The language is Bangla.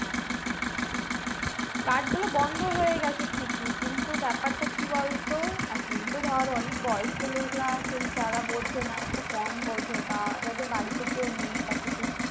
card গুলো বন্ধ হয়ে গেছে ঠিকই কিন্তু ব্যাপারটা কি বলতো এখনতো ধর অনেক বয়স্ক লোকরা তারা বোঝেনা একটু কম বোঝে বা যাদের বাড়িতে কেউ নেই বা কিছু